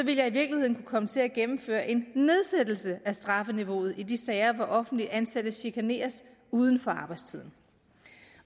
jeg i virkeligheden kunne komme til at gennemføre en nedsættelse af strafniveauet i de sager hvor offentligt ansatte chikaneres uden for arbejdstiden